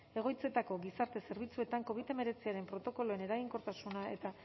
egoitzetako gizarte zerbitzuetan covid hemeretziaren protokoloen eraginkortasuna eta